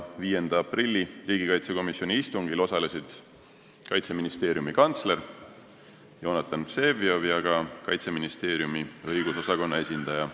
5. aprilli riigikaitsekomisjoni istungil osalesid Kaitseministeeriumi kantsler Jonatan Vseviov ja ka Kaitseministeeriumi õigusosakonna esindaja.